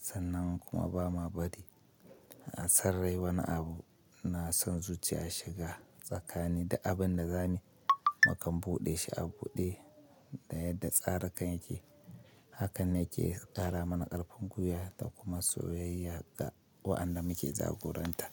sannan kuma ba ma bari a sarrai wani abu na son zuciya shiga tsakani da abin da za mu makamboɗe shi a buɗe da yadda tsarakan yake. Hakan ne ke ƙara mana ƙarfin gwiya da kuma soyayya ga waɗanda muke jagoranta.